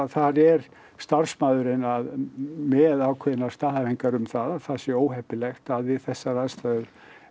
þar er starfsmaðurinn að með ákveðnar staðhæfingar um það að það sé óheppilegt að við þessar aðstæður